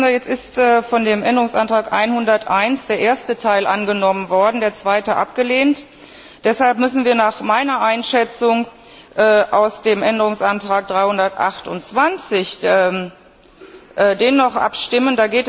Jetzt ist von dem Änderungsantrag 101 der erste Teil angenommen worden, der zweite abgelehnt. Deshalb müssen wir nach meiner Einschätzung aus dem Änderungsantrag 328 den noch abstimmen.